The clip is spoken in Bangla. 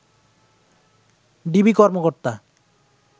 ডিবি কর্মকর্তা